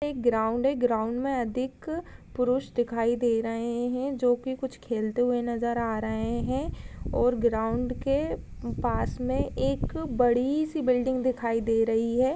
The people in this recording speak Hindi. एक ग्राउंड है | ग्राउंड में अधिक पुरुष दिखाई दे रहे हैं जो कि कुछ खेलते हुए नजर आ रहे हैं और ग्राउंड के पास में एक बड़ी सी बिल्डिंग दिखाई दे रही है।